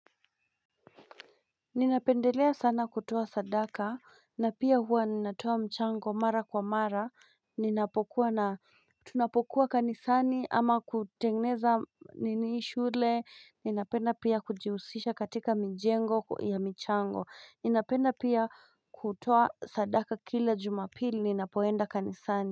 Ninapendelea sana kutoa sadaka, na pia huwa ninatoa mchango mara kwa mara, ninapokuwa na, tunapokuwa kanisani ama kutengeneza niniishule, ninapenda pia kujihusisha katika mijengo ya michango, ninapenda pia kutoa sadaka kila jumapili, ninapoenda kanisani.